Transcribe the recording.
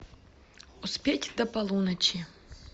успеть до полуночи